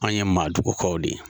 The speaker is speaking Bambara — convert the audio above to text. Anw ye maadugukaw de ye.